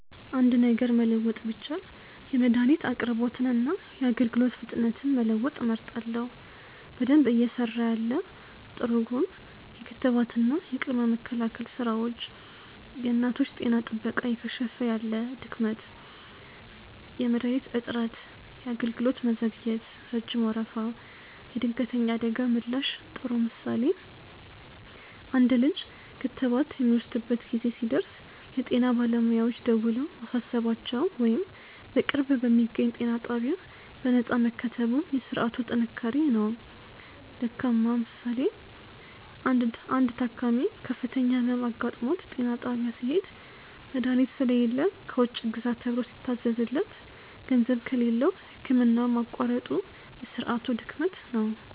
.አንድ ነገር መለወጥ ቢቻል የመድኃኒት አቅርቦትንና የአገልግሎት ፍጥነትን መለወጥ እመርጣለሁ። በደንብ እየሰራ ያለ (ጥሩ ጎን) .የክትባትና የቅድመ መከላከል ሥራዎች .የእናቶች ጤና ጥበቃ እየከሸፈ ያለ (ድክመት) .የመድኃኒት እጥረት .የአገልግሎት መዘግየት (ረጅም ወረፋ) .የድንገተኛ አደጋ ምላሽ ጥሩ ምሳሌ፦ አንድ ልጅ ክትባት የሚወስድበት ጊዜ ሲደርስ የጤና ባለሙያዎች ደውለው ማሳሰባቸው ወይም በቅርብ በሚገኝ ጤና ጣቢያ በነፃ መከተቡ የሥርዓቱ ጥንካሬ ነው። ደካማ ምሳሌ፦ አንድ ታካሚ ከፍተኛ ሕመም አጋጥሞት ጤና ጣቢያ ሲሄድ፣ መድኃኒት ስለሌለ ከውጭ ግዛ ተብሎ ሲታዘዝለት፤ ገንዘብ ከሌለው ሕክምናውን ማቋረጡ የሥርዓቱ ድክመት ነው።